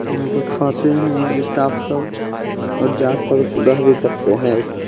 यहां पर खाते हैं स्टाफ सब और जाकर रह भी सकते हैं एक--